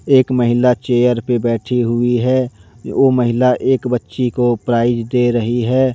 एक महिला चेयर पे बैठी हुई है ओ महिला एक बच्ची को प्राइज दे रही हैं।